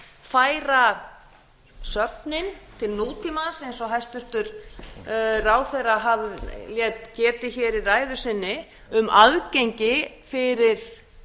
færa söfnin til nútímans eins og hæstvirtur ráðherra lét getið í ræðu sinni um aðgengi fyrir